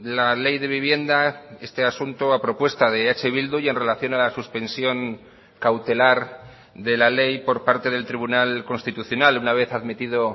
la ley de vivienda este asunto a propuesta de eh bildu y en relación a la suspensión cautelar de la ley por parte del tribunal constitucional una vez admitido